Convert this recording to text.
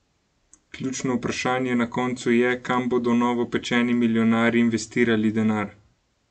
Ključno vprašanje na koncu je, kam bodo novopečeni milijonarji investirali denar?